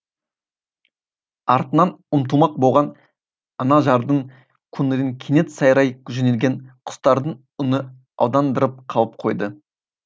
артынан ұмтылмақ болған анажардың көңілін кенет сайрай жөнелген құстардың үні алдандырып қалып қойды